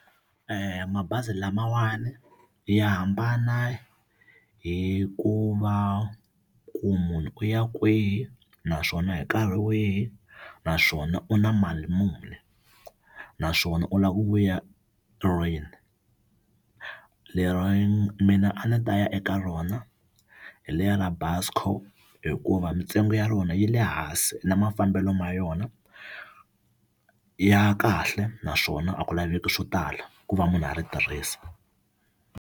Mabazi lamawani ya hambana hi ku va ku munhu u ya kwihi naswona hi nkarhi wihi naswona u na mali muni naswona u lava ku vuya lero mina a ni ta ya eka rona hi leri ra Busco hikuva mintsengo ya rona yi le hansi na mafambelo ma yona ya kahle naswona a ku laveki swo tala ku va munhu a ri tirhisa.